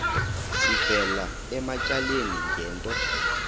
sivela ematyaleni ngento